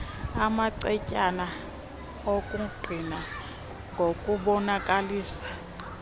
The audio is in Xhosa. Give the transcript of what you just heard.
amacetyana okungqina ngokubonakalisa